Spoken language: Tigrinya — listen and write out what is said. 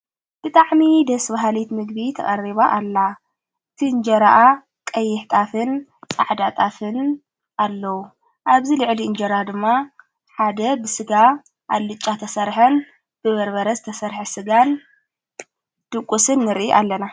ብታዕሚ ደስ ብሃሊት ምግቢ ተቐሪባ ኣላ እቲ እንጀረኣ ቀይኅ ጣፍን ጻዕዳጣፍን ኣለዉ ኣብዚ ልዕሊ እንጀራ ድማ ሓደ ብሥጋ ኣልጫ ተሠርሐን ብበርበረ ዝተሠርሐ ሥጋን ድቊስን ንርእ ኣለና፡፡